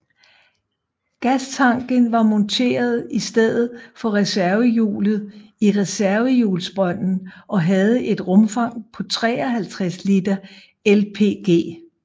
Gastanken var monteret i stedet for reservehjulet i reservehjulsbrønden og havde et rumfang på 53 liter LPG